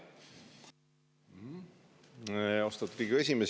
Austatud Riigikogu esimees!